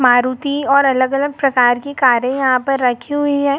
मारुति और अलग-अलग प्रकार की कारें यहाॅं पर रखी हुई है।